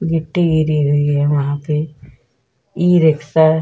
ये टिरी हुई है वहाँ पे ई रिक्शा --